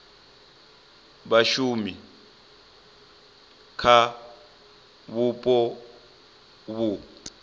vha shume kha vhupo vhu